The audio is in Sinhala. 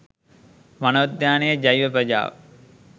වනෝද්‍යානයේ ජෛව ප්‍රජාව